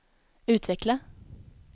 utveckla